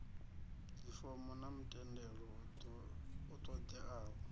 dzifomo na mutendelo u ṱoḓeaho